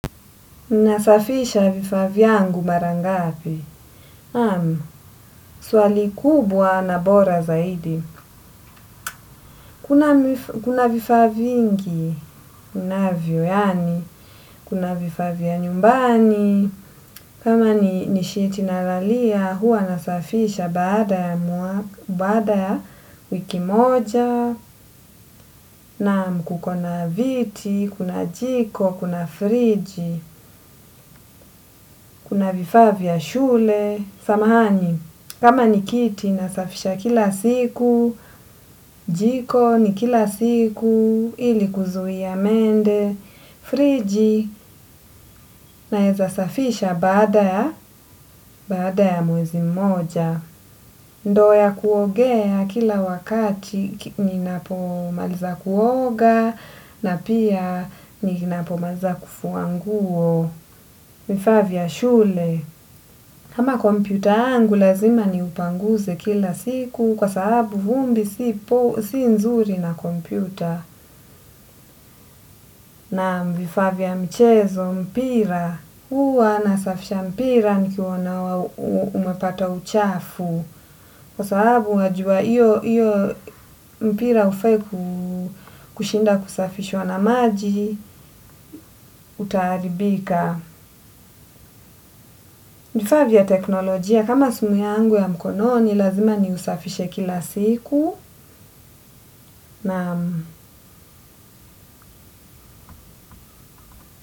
Nasafisha vifaa vyangu marangapi. Naam, swali kubwa na bora zaidi. Kuna vifaa vingi, unavyo yaani, kuna vifaa vya nyumbani, kama ni nisheet nalalia, huwa nasafisha baada ya wiki moja, naam, kukona viti, kuna jiko, kuna friji, kuna vifaa vya shule, samahani, kama nikiti nasafisha kila siku, jiko ni kila siku, ili kuzuia mende, friji na eza safisha baada ya mwezi mmoja. Ndo ya kuogea kila wakati ni napomaliza kuoga na pia ni napomaliza kufuanguo. Vifaa vya shule, kama kompyuta yangu lazima ni upanguze kila siku kwa sababu vumbi si nzuri na kompyuta. Naam vifaa vya mchezo, mpira, huwa nasafisha mpira ni kionawa umepata uchafu kwa sababu wajua iyo mpira ufai ku kushinda kusafishwa na maji, utaharibika. Nifaa vya teknolojia kama simu yangu ya mkononi lazima ni usafishe kila siku. Naam.